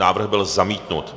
Návrh byl zamítnut.